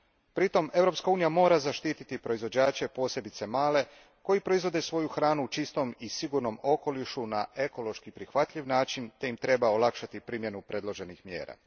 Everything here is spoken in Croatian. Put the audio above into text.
Pritom Europska unija mora zaštititi proizvođače, posebice male, koji proizvode svoju hranu u čistom i sigurnom okolišu na ekološki prihvatljiv način te im treba olakšati primjenu predloženih mjera.